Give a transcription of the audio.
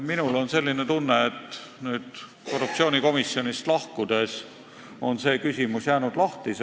Mul on aga nüüd korruptsioonikomisjonist lahkudes jäänud tunne, et see küsimus on lahtine.